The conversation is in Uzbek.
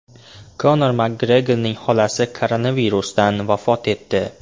Konor Makgregorning xolasi koronavirusdan vafot etdi.